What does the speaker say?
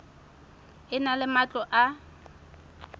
e na le matlo a